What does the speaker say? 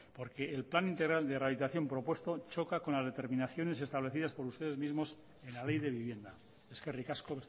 porque el plan integral de rehabilitación propuesto choca con las determinaciones establecidas por ustedes mismos en la ley de vivienda eskerrik asko